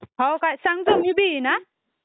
सांग तर..मी बी येईल हा...